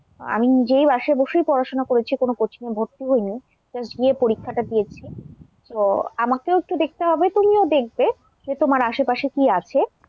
আমি নিজেই বাসায় বসেই পড়াশোনা করেছি কোনো coaching এ ভর্তি হয়নি, just গিয়ে পরীক্ষাটা দিয়েছি তো আমাকেও একটু দেখতে হবে, তুমিও দেখবে যে তোমার আশেপাশে কি আছে,